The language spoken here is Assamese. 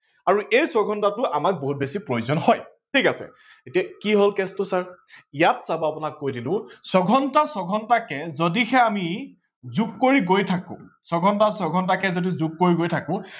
আৰু এই ছয় ঘণ্টাটো আমাক বহুত বেছি প্ৰয়োজন হয়। ঠিক আছে এতিয়া কি হল case টো ছাৰ, ইয়াত চাব আপোনাক কৈ দিলো ছয় ঘণ্টা ছয় ঘণ্টাকে যদিহে আমি যোগ কৰি গৈ থাকো, ছয় ঘণ্টা ছয় ঘণ্টাকে যদি যোগ কৰি গৈ থাকো